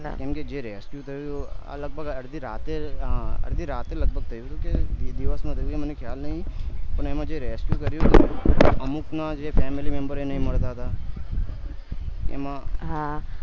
કેમ કે જે rescue આ લગભગ અડધી રાતે અડધી રાત્રે આ લગભગ થયું હતું કે દીવસ માં થયું એ મને ખ્યાલ નહિ પણ એમાં જે rescue કર્યું હતું અમુક ના જે family member એ નય મળત હતા એમાં